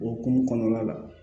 O hukumu kɔnɔna la